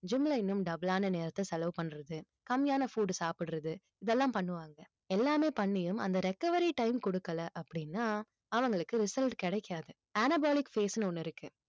gym ல இன்னும் double ஆன நேரத்தை செலவு பண்றது கம்மியான food சாப்பிடுறது இதெல்லாம் பண்ணுவாங்க எல்லாமே பண்ணியும் அந்த recovery time கொடுக்கல அப்படின்னா அவங்களுக்கு result கிடைக்காது anabolic phase ன்னு ஒண்ணு இருக்கு